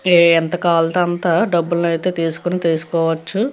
ఎంత కావాలంటే అంత డబ్బులయితే తీసుకుని తీసుకోవచ్చు.